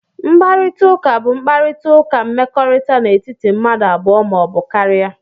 Mkparịta ụka bụ mkparịta ụka mmekọrịta n'etiti mmadụ abụọ ma ọ bụ karịa